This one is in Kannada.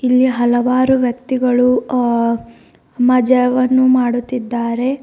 ಇಲ್ಲಿ ಹಲವಾರು ವ್ಯಕ್ತಿಗಳು ಅ ಮಜವನ್ನು ಮಾಡುತ್ತಿದ್ದಾರೆ.